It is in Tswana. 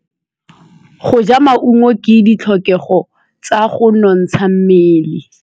Go ja maungo ke ditlhokegô tsa go nontsha mmele.